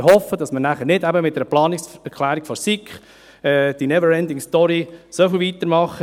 Und ich hoffe, dass wir nachher nicht mit einer Planungserklärung der SiK die Never-Ending-Story so weitermachen.